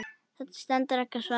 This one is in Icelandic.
Það stendur ekki á svari.